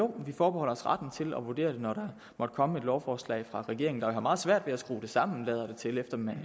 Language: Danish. vi forbeholder os retten til at vurdere det når der måtte komme et lovforslag fra regeringen som åbenbart har meget svært ved at skrue det sammen